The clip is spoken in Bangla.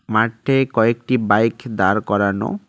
মাঠে কয়েকটি বাইক দাঁড় করানো।